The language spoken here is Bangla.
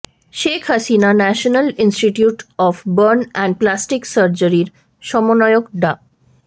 Sheikh Hasina National Institute of Burn and Plastic সার্জারির সমন্বয়ক ডা